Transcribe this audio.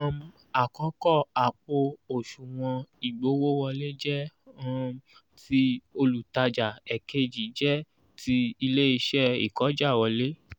um àkọkọ àpò òsùnwọ̀n igbowo wole jẹ um tí olutaja èkejì jẹ tí ilé isẹ́ ikojawole